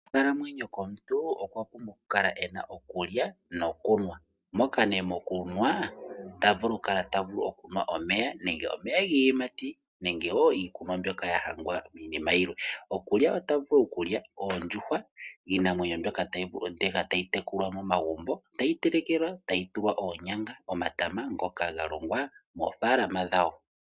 Okukalamwenyo komuntu okwa pumbwa okukala ena okulya nokunwa moka nee mokunwa tavulu okukala okunwa omeya nenge omeya giiyimati nenge woo iikunwa mbyoka yahangwa iinima yilwe. Okulya ota vulu okulya oondjuhwa iinamwenyo mboka tayi tekulwa momagumbo tayi telekelwa tayi tulwa oonyanga nomatama ngoka galongwa moofalama dhawo.